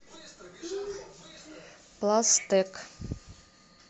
пластэк